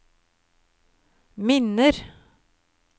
minner